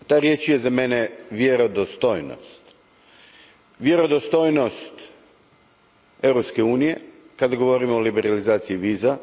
Ta riječ je za mene vjerodostojnost. Vjerodostojnost Europske unije kada govorimo o liberalizaciji viza.